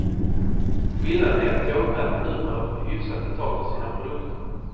Skillnaden är att sågverken nu börjar få hyfsat betalt för sina produkter.